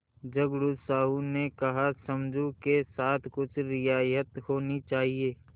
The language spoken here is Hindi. झगड़ू साहु ने कहासमझू के साथ कुछ रियायत होनी चाहिए